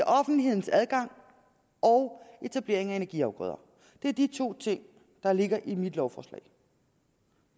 offentlighedens adgang og etablering af energiafgrøder det er de to ting der ligger i mit lovforslag